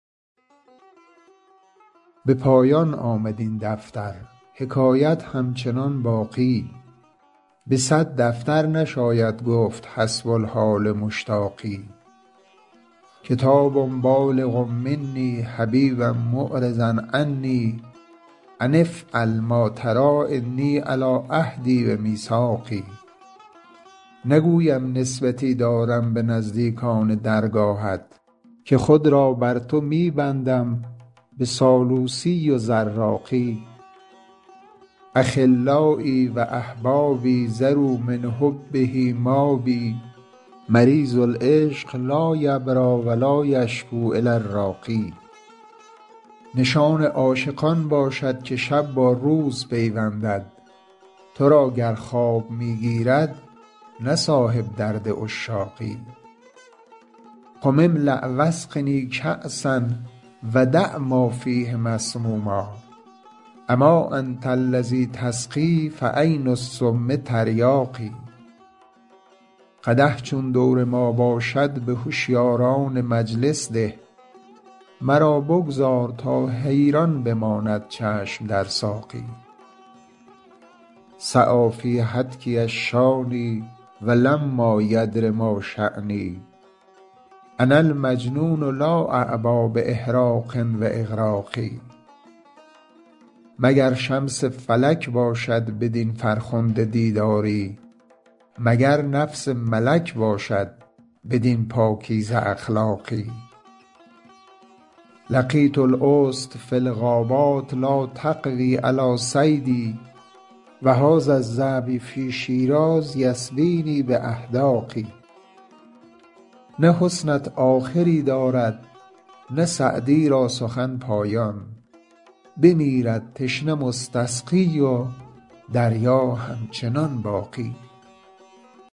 به پایان آمد این دفتر حکایت همچنان باقی به صد دفتر نشاید گفت حسب الحال مشتاقی کتاب بالغ منی حبیبا معرضا عنی أن افعل ما تری إني علی عهدی و میثاقی نگویم نسبتی دارم به نزدیکان درگاهت که خود را بر تو می بندم به سالوسی و زراقی أخلایی و أحبابی ذروا من حبه مابی مریض العشق لا یبری و لا یشکو إلی الراقی نشان عاشق آن باشد که شب با روز پیوندد تو را گر خواب می گیرد نه صاحب درد عشاقی قم املأ و اسقنی کأسا و دع ما فیه مسموما أما أنت الذی تسقی فعین السم تریاقی قدح چون دور ما باشد به هشیاران مجلس ده مرا بگذار تا حیران بماند چشم در ساقی سعی فی هتکی الشانی و لما یدر ما شانی أنا المجنون لا أعبا بإحراق و إغراق مگر شمس فلک باشد بدین فرخنده دیداری مگر نفس ملک باشد بدین پاکیزه اخلاقی لقیت الأسد فی الغابات لا تقوی علی صیدی و هذا الظبی فی شیراز یسبینی بأحداق نه حسنت آخری دارد نه سعدی را سخن پایان بمیرد تشنه مستسقی و دریا همچنان باقی